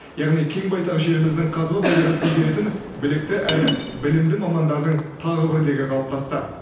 яғни кең байтақ жеріміздің қазба байлығын игеретін білікті әрі білімді мамандардың тағы бір легі қалыптасты